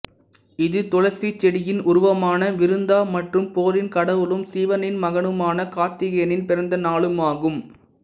இது துளசி செடியின் உருவமான விருந்தா மற்றும் போரின் கடவுளும் சிவனின் மகனுமான கார்த்திகேயனின் பிறந்த நாளும் ஆகும்